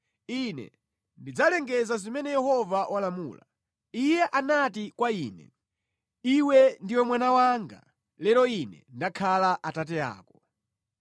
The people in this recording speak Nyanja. Ine ndidzalengeza zimene Yehova walamula: Iye anati kwa Ine, “Iwe ndiwe mwana wanga; lero Ine ndakhala Atate ako.